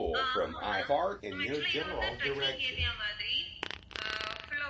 ஆஹ் ஆமாம் ma'am ma'am actual ஆ இது வந்து trekking area மாதிரி ஆஹ் full ஆ